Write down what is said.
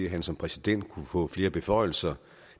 at han som præsident kunne få flere beføjelser